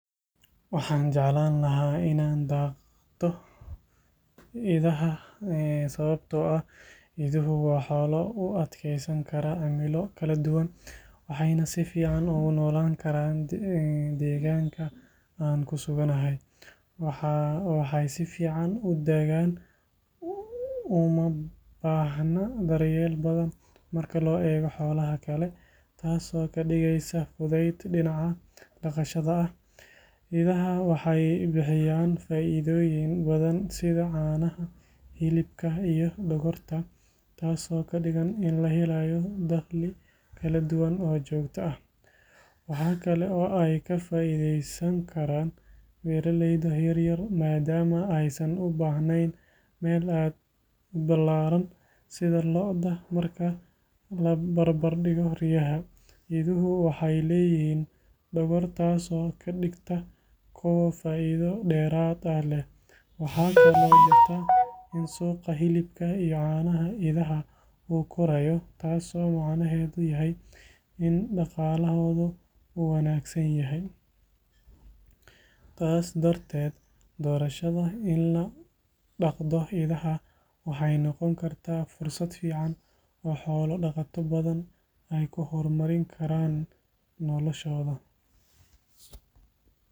Waxaan jeclaan lahaa inaan daaqdo idaha sababtoo ah iduhu waa xoolo u adkeysan kara cimilo kala duwan, waxayna si fiican ugu noolaan karaan deegaanka aan ku suganahay. Waxay si fiican u daaqaan, uma baahna daryeel badan marka loo eego xoolaha kale, taasoo ka dhigaysa fudayd dhinaca dhaqashada ah. Idahu waxay bixiyaan faa’iidooyin badan sida caanaha, hilibka iyo dhogorta, taasoo ka dhigan in la helayo dakhli kala duwan oo joogto ah. Waxa kale oo ay ka faa’iidaysan karaan beeraleyda yaryar maadaama aysan u baahnayn meel aad u ballaaran sida lo’da. Marka la barbardhigo riyaha, iduhu waxay leeyihiin dhogor, taasoo ka dhigta kuwo faa’iido dheeraad ah leh. Waxaa kaloo jirta in suuqa hilibka iyo caanaha idaha uu korayo, taasoo macnaheedu yahay in dhaqaalahooda uu wanaagsan yahay. Taas darteed, doorashada in la dhaqdo idaha waxay noqon kartaa fursad fiican oo xoolo dhaqato badan ay ku horumarin karaan noloshooda.